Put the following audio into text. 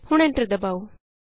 ਹੁਣ ਐਂਟਰ ਦਬਾਉ